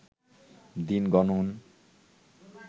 দিন গণন